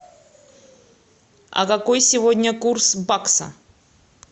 а какой сегодня курс бакса